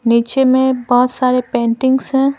नीचे में बहुत सारे पेंटिंग्स हैं।